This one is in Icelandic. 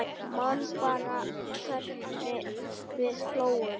Man bara hvernig við hlógum.